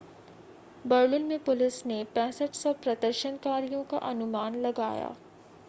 Berlin में police ने 6,500 प्रदर्शनकारियों का अनुमान लगाया